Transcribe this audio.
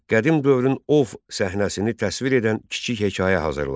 Qədim dövrün ov səhnəsini təsvir edən kiçik hekayə hazırla.